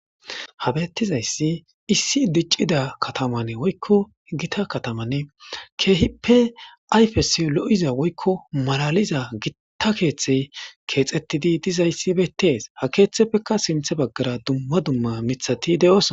Ha bettizayssi issi diccida katamanne woykko gita katamanne keehippe ayfes lo'iza woykko malaliza gitta keeththe keexettidi dizayssi bettees ha keeththeppekka simthe baggara dumma dumma mithati de'oos.